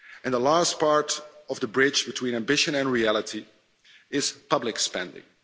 The last part of the bridge between ambition and reality is public spending.